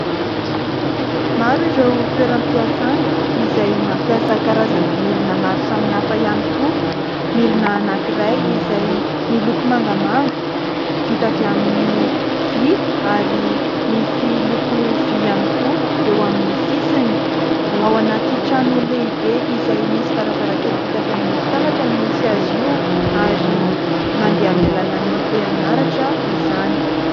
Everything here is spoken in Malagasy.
Maro ireo toeram-piasana izay mampiasa karazana milina maro samihafa ihany koa. Milina anankiray izay miloko mangamanga vita avy amin'ny vy, ary misy loko vy ihany koa eo amin'ny sisiny. Ao anaty trano lehibe izay misy varavarankely vita avy amin'ny fitaratra no misy azy io, ary mandeha amin'ny alalan'ny herinaratra izany.